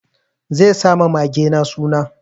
Zai sa ma magena suna.